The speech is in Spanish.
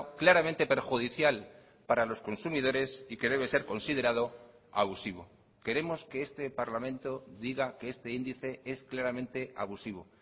claramente perjudicial para los consumidores y que debe ser considerado abusivo queremos que este parlamento diga que este índice es claramente abusivo